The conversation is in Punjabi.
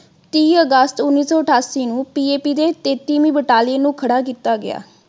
ਤੀਹ ਅਗਸਤ ਉਨੀ ਸੌ ਅਠਾਸੀ ਨੂੰ PAP ਦੇ ਤੇਤਵੀ ਬਟਾਲੀਅਨ ਨੂੰ ਖੜਾ ਕੀਤਾ ਗਿਆ।